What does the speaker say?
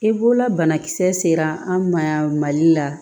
I bolola banakisɛ sera an ma yan mali la